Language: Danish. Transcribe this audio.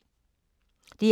DR2